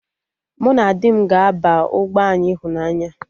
Mụ na di m ga-aba ụgbọ anyị ịhụnanya